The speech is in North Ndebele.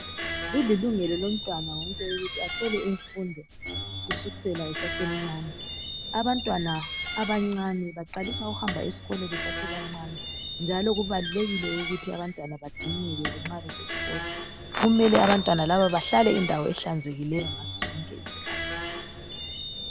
Kulilungelo lomntwana wonke ukuthi athole imfundo sukusela esasemcane. Abantwana abancane baqalisa ukuhamba esikolo besasebancane njalo kubalulekile ukuthi abantwana bagcineleke nxa besesikolo. Kumele abantwana laba bahlale endaweni ehlanzekileyo ngaso sonke isikhathi.